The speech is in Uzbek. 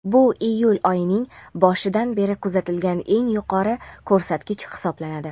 Bu iyul oyining boshidan beri kuzatilgan eng yuqori ko‘rsatkich hisoblanadi.